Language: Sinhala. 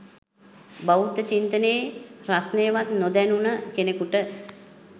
බෞද්ධ චිත්තනයේ රස්නයවත් නොදැනුන කෙනෙකුට